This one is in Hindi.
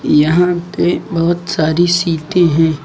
यहां पे बहुत सारी सीटें हैं।